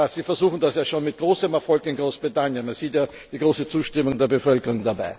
Sie versuchen das ja schon mit großem Erfolg in Großbritannien, man sieht ja die große Zustimmung der Bevölkerung.